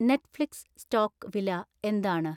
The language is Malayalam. നെറ്റ്ഫ്ലിക്സ് സ്റ്റോക്ക് വില എന്താണ്